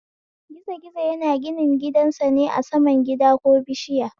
Gizo gizo yana gininsa ne a saman gida ko bishiya